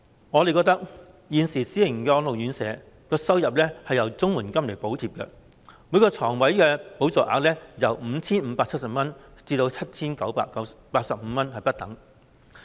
我們認為，現時私營安老院舍的收入是由綜合社會保障援助補貼，每個床位的補助額由 5,570 元至 7,985 元不等。